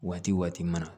Waati waati mana